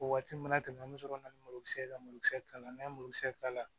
O waati mana tɛmɛ an bɛ sɔrɔ ka na ni malokisɛ ka malokisɛ kala n'an ye mulukisɛ kala